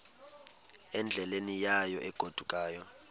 endleleni yayo egodukayo